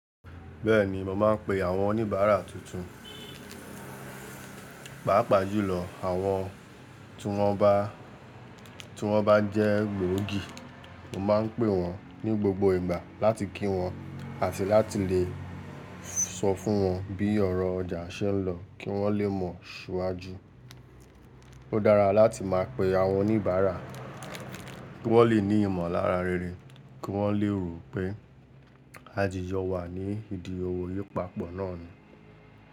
Bẹ́ẹ̀ni, mo má ń pe àwọn oníbàárà tuntun. Pàápàá jùlọ, àwọn tí wọ́n bá jẹ́ gbòógì, mo máa ń pè wọ́n ní gbogbo ìgbà láti kí wọn àti láti lè sọ fún wọn bí ọ̀rọ̀ ọjà ṣe ń lọ kí wọ́n lé mọ̀ ṣiwajú. Ó dára láti máa pe àwọn oníbàárà kí wọ́n lè ní ìmọ̀lára réré kí wọ́n lé rò pé àdìjo wà ní idí owó yii ìpapọ̀ náà ni.